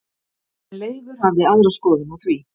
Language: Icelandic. En Leifur hafði aðra skoðun á því.